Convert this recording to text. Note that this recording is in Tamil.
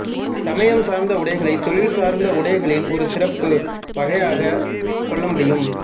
சமயம் சார்ந்த உடைகளைத் தொழில் சார்ந்த உடைகளின் ஒரு சிறப்பு வகையாகக் கொள்ள முடியும்